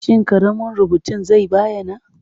Shin ƙaramin rubutun zai bayyana?